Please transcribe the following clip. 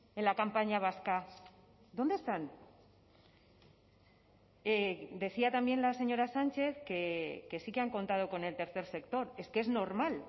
en la campaña vasca dónde están decía también la señora sánchez que sí que han contado con el tercer sector es que es normal